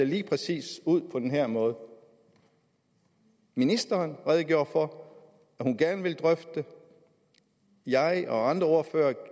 lige præcis på den her måde ministeren redegjorde for at hun gerne vil drøfte det jeg og andre ordførere